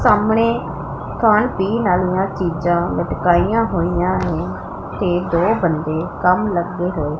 ਸਾਹਮਣੇ ਖਾਣ ਪੀਣ ਆਲਿਆਂ ਚੀਜਾਂ ਲਟਕਾਈਆਂ ਹੋਈਆਂ ਨੇਂ ਤੇ ਦੋ ਬੰਦੇ ਕੰਮ ਲੱਗੇ ਹੋਏ--